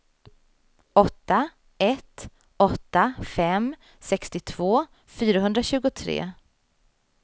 åtta ett åtta fem sextiotvå fyrahundratjugotre